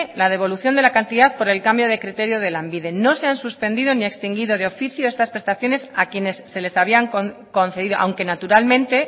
la devolución de la cantidad por el cambio de criterio de lanbide no se han suspendido ni extendido de oficio estas prestaciones a quienes se les había concedido aunque naturalmente